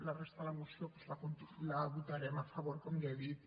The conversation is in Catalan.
la resta de la moció doncs la votarem a favor com ja he dit